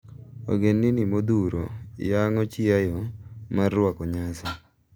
Ogendini modhuro yang`o chiaye mar rwako nyasi.